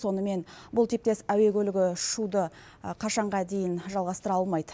сонымен бұл типтес әуе көлігі ұшуды қашанға дейін жалғастыра алмайды